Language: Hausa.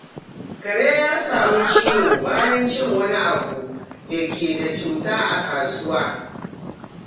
Kare ya sami ciwo bayan cin wani abu da ke da cuta a kasuwa.